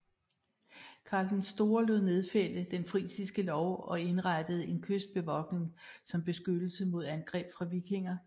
Karl den Store lod nedfælde den frisiske lov og indrettede en kystbevogtning som beskyttelse mod angreb fra vikinger